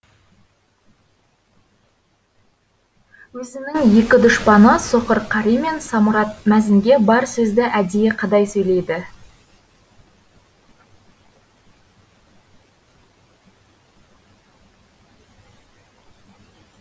өзінің екі дұшпаны соқыр қари мен самұрат мәзінге бар сөзді әдейі қадай сөйлейді